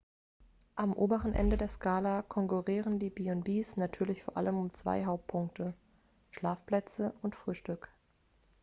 am oberen ende der skala konkurrieren die b&bs natürlich vor allem um zwei hauptpunkte schlafplätze und frühstück